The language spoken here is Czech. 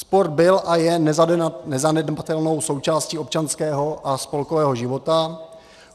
Sport byl a je nezanedbatelnou součástí občanského a spolkového života.